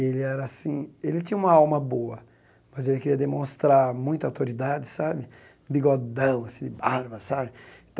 Ele era assim ele tinha uma alma boa, mas queria demonstrar muita autoridade sabe, bigodão assim, barba sabe.